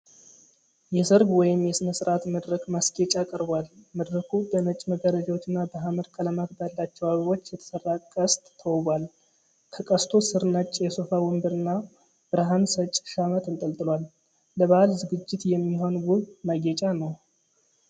የሰርግ ወይም የሥነ ሥርዓት መድረክ ማስጌጫ ቀርቧል። መድረኩ በነጭ መጋረጃዎችና በሐመር ቀለማት ባላቸው አበቦች የተሠራ ቅስት ተውቧል። ከቅስቱ ሥር ነጭ የሶፋ ወንበርና ብርሃን ሰጪ ሻማ ተንጠልጥሏል። ለበዓል ዝግጅት የሚሆን ውብ ማጌጫ ነው።